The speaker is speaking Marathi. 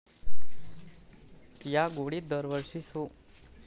या गोडीत दरवर्षी सू.